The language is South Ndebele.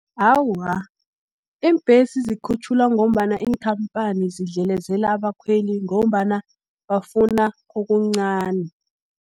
Awa, iimbhesi zikhutjhulwa ngombana iinkhamphani zidlelezela abakhweli, ngombana bafuna okuncani.